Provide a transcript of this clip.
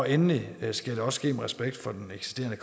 endelig skal der også være respekt for den eksisterende